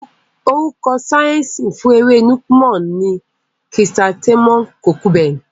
Orúkọ síẹ̀nsì fún ewé Nuke-Noh ni Chrysanthemum Procumbens.